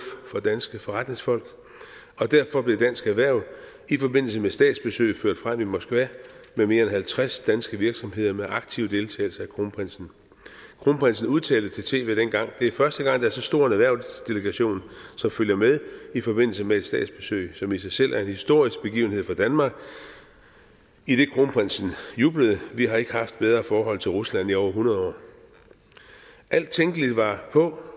for danske forretningsfolk og derfor blev dansk erhverv i forbindelse med statsbesøget ført frem i moskva med mere end halvtreds danske virksomheder med aktiv deltagelse af kronprinsen kronprinsen udtalte til tv dengang det er første gang der er så stor en erhvervsdelegation som følger med i forbindelse med et statsbesøg som i sig selv er en historisk begivenhed for danmark kronprinsen jublede vi har ikke haft bedre forhold til rusland i over hundrede år alt tænkeligt var på